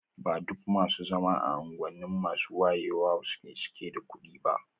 Ba duk masu zama a unguwanni masu wayewa suke da kuɗi ba.